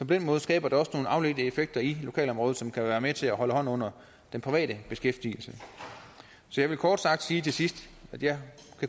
den måde skaber det også nogle afledte effekter i lokalområdet som kan være med til at holde hånden under den private beskæftigelse så jeg vil kort sige til sidst at jeg